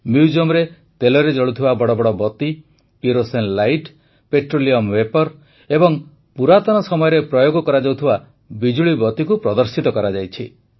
ମ୍ୟୁଜିୟମ୍ରେ ତେଲରେ ଜଳୁଥିବା ବଡ଼ ବଡ଼ ବତୀ କିରୋସିନ ଲାଇଟ୍ ପେଟ୍ରୋଲିୟମ ଭେପର୍ ଏବଂ ପୁରାତନ ସମୟରେ ପ୍ରୟୋଗ କରାଯାଉଥିବା ବିଜୁଳିବତୀକୁ ପ୍ରଦର୍ଶିତ କରାଯାଇଛି